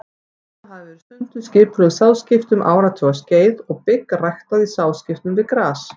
Þarna hafa verið stunduð skipulögð sáðskipti um áratugaskeið og bygg ræktað í sáðskiptum við gras.